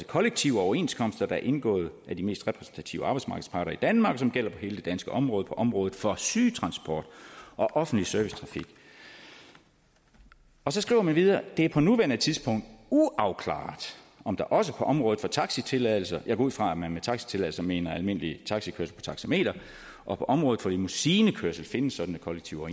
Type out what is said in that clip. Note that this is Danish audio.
kollektive overenskomster der er indgået af de mest repræsentative arbejdsmarkedsparter i danmark og som gælder på hele det danske område på området for sygetransport og offentlig servicetrafik så skriver man videre det er på nuværende tidspunkt uafklaret om der også på området for taxitilladelser jeg går ud fra at man med taxitilladelser mener almindelig taxikørsel på taxameter og på området for limousinekørsel findes sådanne kollektive